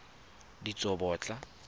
ditsobotla